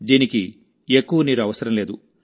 దీనికి ఎక్కువ నీరు అవసరం లేదు